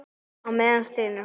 Á meðan stynur hún.